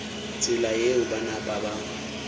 tsela yeo ba napa ba